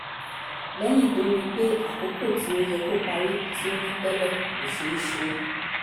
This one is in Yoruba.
lẹ́yìn tó rí i pé àkókò tí ó yẹ kó parí tí o ní tẹ́lẹ̀ kò ṣé ṣe é